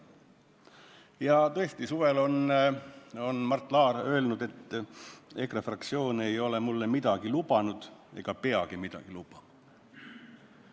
Ja tõesti, suvel on Mart Laar öelnud, et EKRE fraktsioon ei ole mulle midagi lubanud ega peagi midagi lubama.